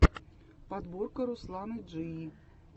подборка русланы джии